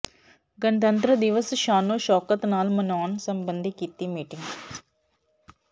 ਗਣਤੰਤਰ ਦਿਵਸ ਸ਼ਾਨੋ ਸ਼ੌਕਤ ਨਾਲ ਮਨਾਉਣ ਸਬੰਧੀ ਕੀਤੀ ਮੀਟਿੰਗ